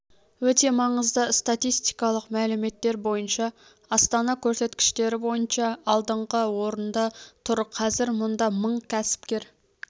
өте маңызды статистикалық мәліметтер бойынша астана көрсеткіштері бойынша алдыңғы орында тұр қазір мұнда мың кәсіпкер